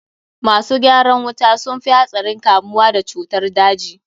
Masu gyaran wuta sun fi hatsarin kamuwa da cutar daji.